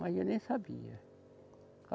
Mas eu nem sabia.